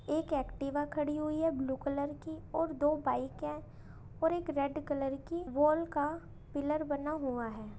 एक एक्टिवा खड़ी हुई है ब्लू कलर की और दो बाइक हैं और एक रेड कलर की वॉल का पिलर बना हुआ है।